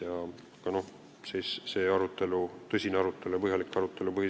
Põhiseaduskomisjonis seisab ees tõsine ja põhjalik arutelu.